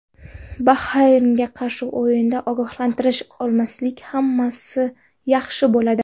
Bahraynga qarshi o‘yinda ogohlantirish olmasak, hammasi yaxshi bo‘ladi”.